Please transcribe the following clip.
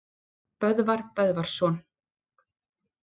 Böðvar Böðvarsson